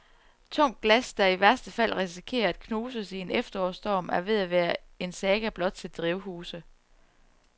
Tungt glas, der i værste fald risikerer at knuses i en efterårsstorm, er ved at være en saga blot til drivhuse.